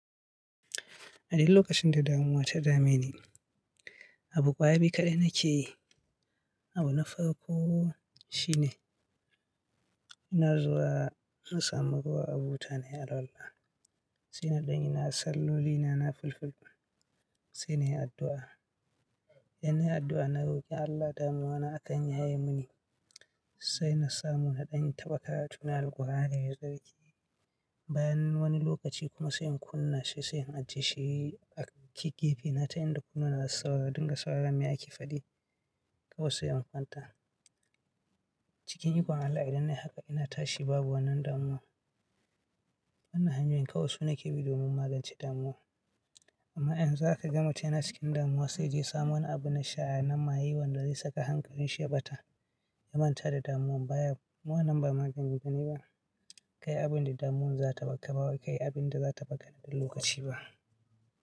A duk lokacin da damuwa ta dame ni, abu ƙwaya biyu kaɗai nake yi. Abu na farko shine ina zuwa in samu ruwa a buta na yi alwala. Sai na ɗanyi salloli na, na filfilu. Sai na yi addu'a. Yanayin addu'a na roki Allah damuwa na akan ya yaye mini. Sai na samu na ɗan in taɓa karatuna Alqur'ani da sarki. Bayan wani lokaci kuma sai in kunna shi sai in ajiye shi a gefe na, ta yanda kuna na sauraro, ɗinga sauraron me ake faɗi. Kawai sai in kwanta. Cikin ikon Allah idan nayi haka ina tashi babu wannan damuwa. Wannan hanyoyin kawai su nake bi domin magance damuwa. Amma in za ka ga mutane cikin damuwa sai je samo wani abu na sha nan ma ye wanda zai saka hankalin shi bata, ya manta da damuwan baya. Wannan ba magani bane ba. Kai abin da damuwan za taɓa taɓawa, kai abin da za taɓa ƙare da lokaci ba.